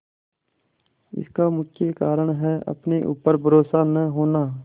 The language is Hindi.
इसका मुख्य कारण है अपने ऊपर भरोसा न होना